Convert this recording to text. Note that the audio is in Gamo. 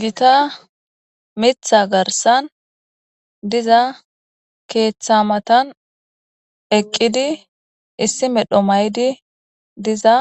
Gita mitha garsan diza keeththa matan eqqidi issi medho maydi diza